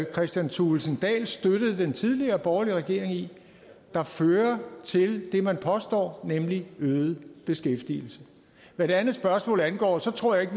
kristian thulesen dahl støttede den tidligere borgerlige regering i der fører til det man påstår nemlig øget beskæftigelse hvad det andet spørgsmål angår tror jeg ikke